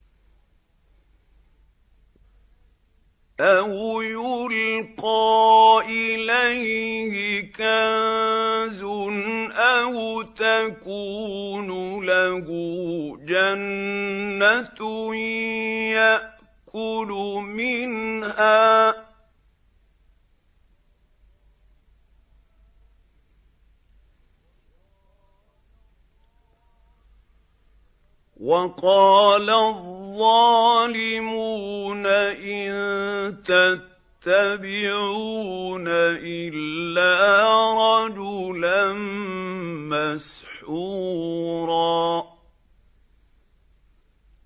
أَوْ يُلْقَىٰ إِلَيْهِ كَنزٌ أَوْ تَكُونُ لَهُ جَنَّةٌ يَأْكُلُ مِنْهَا ۚ وَقَالَ الظَّالِمُونَ إِن تَتَّبِعُونَ إِلَّا رَجُلًا مَّسْحُورًا